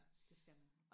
ja det skal man